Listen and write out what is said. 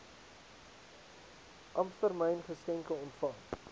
ampstermyn geskenke ontvang